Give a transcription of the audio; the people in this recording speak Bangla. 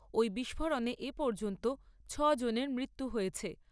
ওই বিষ্ফোরণে এ পর্যন্ত ছ'জনের মৃত্যু হয়েছে।